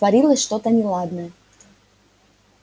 творилось что-то неладное